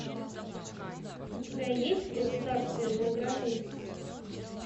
у тебя есть государственная граница